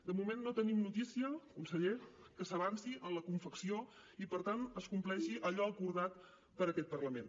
de moment no tenim notícia conseller que s’avanci en la confecció i per tant es compleixi allò acordat per aquest parlament